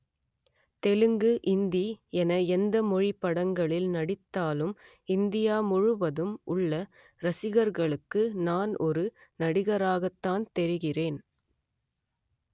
தெலுங்கு இந்தி என எந்தமொழி படங்களில் நடித்தாலும் இந்தியா முழுவதும் உள்ள ரசிகர்களுக்கு நான் ஒரு நடிகராகத்தான் தெரிகிறேன்